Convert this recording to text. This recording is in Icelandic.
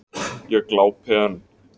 Ég glápi enn.